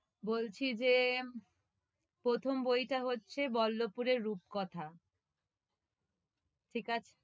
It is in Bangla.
বলছি যে, প্রথম বইটা হচ্ছে বল্লপুরের রূপকথা ঠিক আছে?